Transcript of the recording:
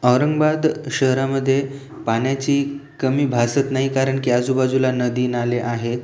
औरंगाबाद शहरामध्ये पाण्याची कमी भासत नाही करण की आजूबाजूला नदी नाले आहेत.